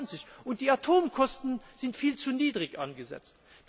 2020. Und die Atomkosten sind viel zu niedrig angesetzt.